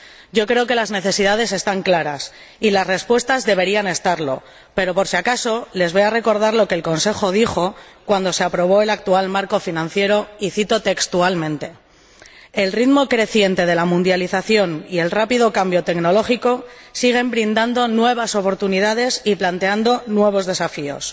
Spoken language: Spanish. Yo creo que las necesidades están claras y las respuestas deberían estarlo pero, por si acaso, les voy a recordar lo que el Consejo dijo cuando se aprobó el actual marco financiero, y cito textualmente El ritmo creciente de la mundialización y el rápido cambio tecnológico siguen brindando nuevas oportunidades y planteando nuevos desafíos.